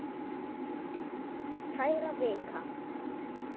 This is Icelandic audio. Kæra Vika!